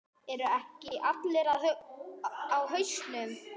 Eru ekki allir á hausnum?